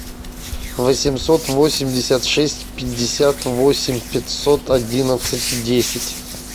восемьсот восемьдесят шесть пятьдесят восемь пятьсот одиннадцать десять